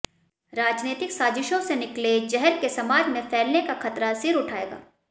राजनैतिक साजिशों से निकले जहर के समाज में फैलने का खतरा सिर उठाएगा